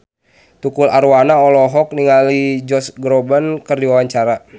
Tukul Arwana olohok ningali Josh Groban keur diwawancara